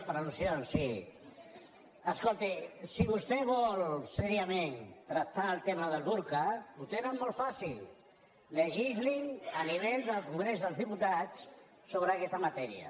per alseriosament tractar el tema del burca ho tenen molt fàcil legislin a nivell del congrés dels diputats so·bre aquesta matèria